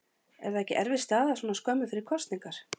Er það ekki erfið staða svona skömmu fyrir kosningar?